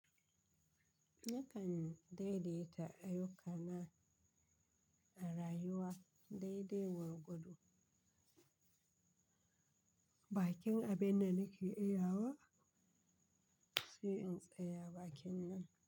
Nakan daidaita ayyuka na a rayuwa daidai gwargwado. Bakin abin nan nake iya wa? Sai in tsaya bakin nan.